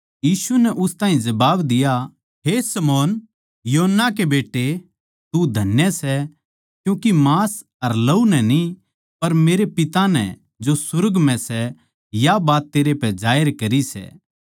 यीशु नै उस ताहीं जबाब दिया हे शमौन योना नबी के बेट्टे तू धन्य सै क्यूँके मांस अर लहू नै न्ही पर मेरै पिता नै जो सुर्ग म्ह सै या बात तेरै पै जाहिर करी सै